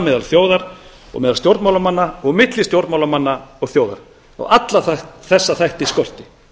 meðal þjóðar og meðal stjórnmálamanna og milli stjórnmálamanna og þjóðar á alla þessa þætti skorti